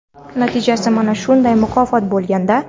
natijasi mana shunday mukofot bo‘lganda.